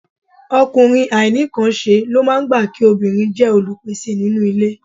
Ọkùnrin àìnínǹkanṣe ló máa gbà kí obìnrin jẹ́ olùpèsè nínú ilé